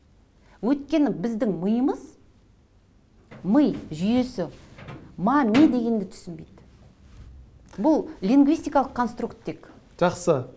өйткені біздің миымыз ми жүйесі ма ме дегенді түсінбейді бұл лингвистикалық конструктик жақсы